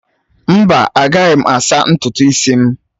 Mba, agaghị m asaa ntutu isi m!